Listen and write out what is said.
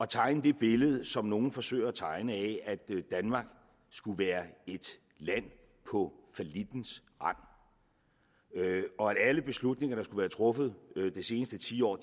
at tegne det billede som nogle forsøger at tegne at danmark skulle være et land på fallittens rand og at alle beslutninger der er truffet de seneste ti år